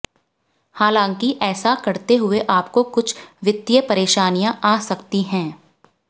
हालाँकि ऐसा करते हुए आपको कुछ वित्तीय परेशानियां आ सकती हैं